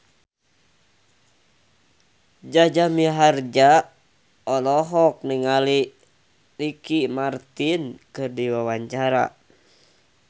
Jaja Mihardja olohok ningali Ricky Martin keur diwawancara